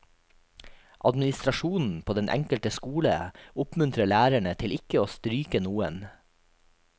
Administrasjonen på den enkelte skole oppmuntrer lærerne til ikke å stryke noen.